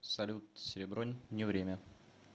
салют серебро не время